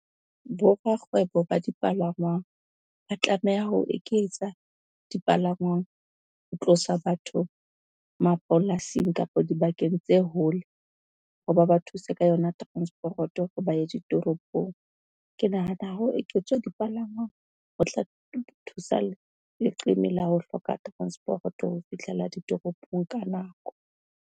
Borakgwebo ba dipalangwang ba tlameha ho eketsa dipalangwang, ho tlosa batho mapolasing kapa dibakeng tse hole, ho ba ba thuse ka yona teransporoto ho ba ye ditoropong. Ke nahana ho eketswe dipalangwang ho tla thusa leqeme la ho hloka teransporoto ho fihlela ditoropong ka nako.